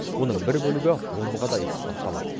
оның бір бөлігі омбыға да экспортталады